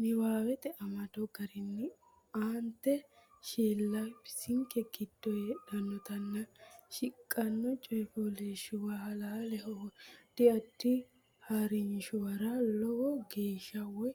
niwaawete amado garinni aante Shiilla bisinke giddo hadhannotenna shiqqino coy fooliishshuwa halaaleho addi addi ha rinshuwara lowo geeshsha woy